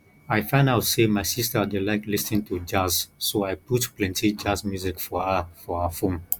i find out say my sister dey like lis ten to jazz so i put plenty jazz music for her for her phone